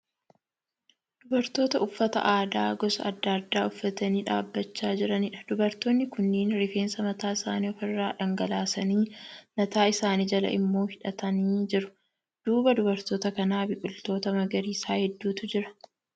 Dubartoota uffata aadaa gosa adda addaa uffatanii dhaabbachaa jiraniidha. Dubartoonni kunniin rifeensa mataa isaanii ofi irra dhangalaasanii mataa isaanii jala immoo hidhatanii jiru. Duuba dubartoota kanaa biqiloota magariisaa hedduutu jira.